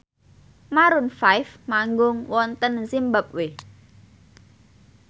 Maroon 5 manggung wonten zimbabwe